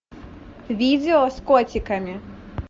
видео с котиками